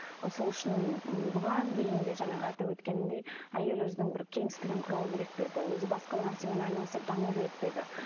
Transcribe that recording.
сол үшін м бұған дейін де жаңағы атап өткенімдей әйел өзінің бір кеңістігін құрау керек пе еді өзі басқа нәрсемен айналысып даму керек пе еді